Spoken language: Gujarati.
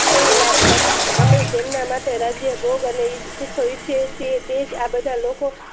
સો લાભ અમે સ જેમના માટે રાજ્ય ભોગ અને ઇચ્છ એ છીએ એજ આ બધા લોકો